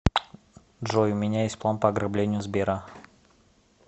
джой у меня есть план по ограблению сбера